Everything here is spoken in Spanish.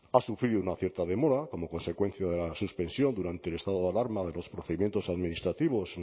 ha sufrido una cierta demora como consecuencia de la suspensión durante el estado de alarma o de los procedimientos administrativos